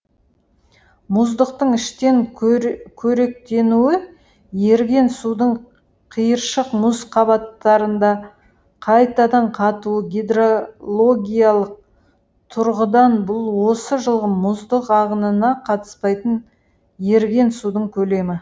мұздықтың іштен қоректенуі еріген судың қиыршық мұз қабаттарында қайтадан катуы гидрологиялық тұрғыдан бұл осы жылғы мұздық ағынына қатыспайтын еріген судың көлемі